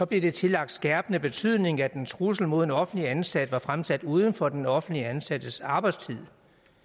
det tillagt skærpende betydning at en trussel mod en offentligt ansat var fremsat uden for den offentligt ansattes arbejdstid